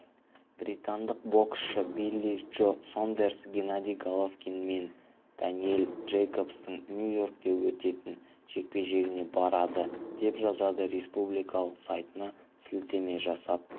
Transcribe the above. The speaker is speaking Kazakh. британдық боксшы билли джо сондерс геннадий головкин мен дэниэл джейкобстың нью-йоркте өтетін жекпе-жегіне барады деп жазады республикалық сайтына сілтеме жасап